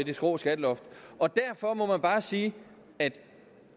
det skrå skatteloft derfor må man bare sige at